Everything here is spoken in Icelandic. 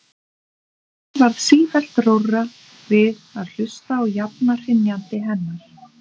Mér varð sífellt rórra við að hlusta á jafna hrynjandi hennar.